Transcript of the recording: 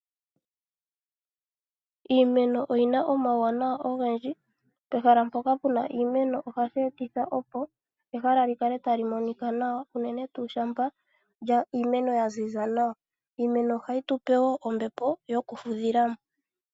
Iimeno oyina omawunawa ogendji . Pehala mpoka pena iimeno ohapu etitha opo ehala likale talimonika nawa unene tuu shampa ya ziza nawa. Iimeno ohayi tupe woo ombepo yokufudhilamo.